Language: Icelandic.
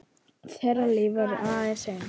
Þeirra líf verður aldrei eins.